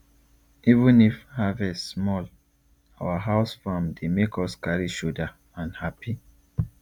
even if harvest small our house farm dey make us carry shouder and happy